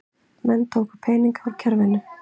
Menn tóku peninga út úr kerfinu